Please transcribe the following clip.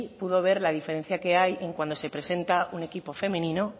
pudo ver la diferencia que hay cuando se presenta un equipo femenino